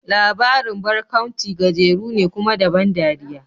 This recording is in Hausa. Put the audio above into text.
Labarin barkaunci gajeru ne, kuma da ban dariya.